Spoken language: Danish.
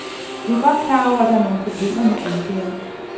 Vi er godt klar over, at der er nogle problemer med udgaven.